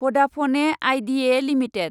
भदाफने IDEA limited